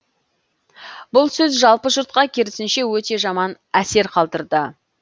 бұл сөз жалпы жұртқа керісінше өте жаман әсер қалдырды